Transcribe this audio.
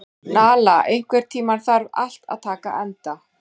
Nala, einhvern tímann þarf allt að taka enda.